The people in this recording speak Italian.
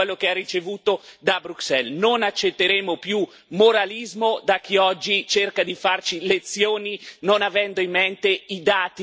Non accetteremo più moralismo da chi oggi cerca di farci lezioni non avendo in mente i dati che sono lì per tutti da guardare.